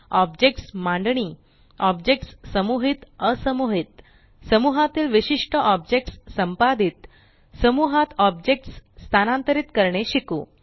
objects मांडणी objects समुहित असमुहीत समूहातील विशिष्ट ऑब्जेक्ट्स संपादित समूहात ऑब्जेक्ट्स स्थानांतरीत करणे शिकू